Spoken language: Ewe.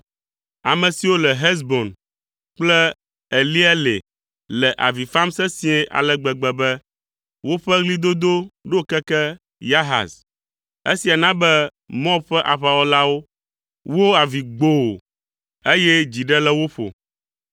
Ame siwo le Hesbon kple Eleale le avi fam sesĩe ale gbegbe be, woƒe ɣlidodo ɖo keke Yahaz. Esia na be Moab ƒe aʋawɔlawo wo avi gboo, eye dzi ɖe le wo ƒo.